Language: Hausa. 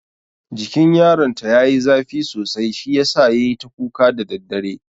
Jikin yaron ta yayi zafi sosai shi yasa yayi ta kuka da daddare.